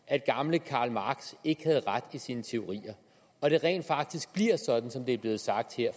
at gamle karl marx ikke havde ret i sine teorier og det rent faktisk bliver sådan som det er blevet sagt